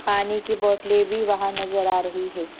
पानी की बोटले भी वहा नज़र आ रही है।